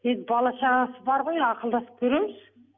енді бала шағасы бар ғой ақылдасып көреміз